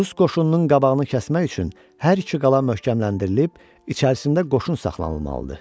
Rus qoşununun qabağını kəsmək üçün hər iki qala möhkəmləndirilib, içərisində qoşun saxlanılmalıdır.